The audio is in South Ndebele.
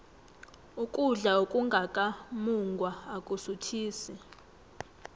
ukudla okungaka mungwa akusuthisi